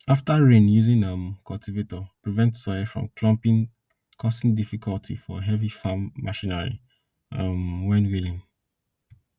after rain using um cultivator prevents soil from clumping causing difficulty for heavy farm machinery um when wheeling